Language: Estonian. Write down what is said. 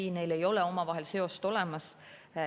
Ei, neil ei ole omavahel seost olemas.